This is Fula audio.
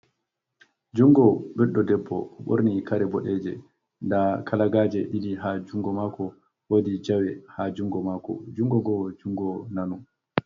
Jungo Ɓeɗɗo Ɗeɓɓo. Ɓorni Kare Ɓoɗeje, Da Kalagaje Ɗiɗi Ha Jungo Mako Woɗi Jawe Ha Jungo Mako Jungo Go Jungo Nano.